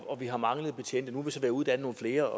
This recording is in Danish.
at vi har manglet betjente nu ved at uddanne nogle flere